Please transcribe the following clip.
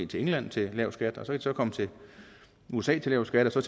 til england til lav skat og så kan de så komme til usa til lav skat og så